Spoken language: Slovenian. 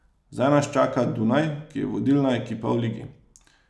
Zdaj nas čaka Dunaj, ki je vodilna ekipa v ligi.